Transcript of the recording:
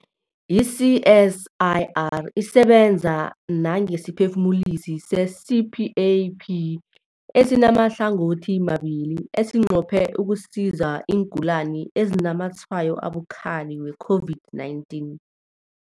I-CSIR isebenza nangesiphefumulisi se-CPAP esimahlangothimabili esinqophe ukusiza iingulani ezinazamatshwayo abukhali we-COVID-19.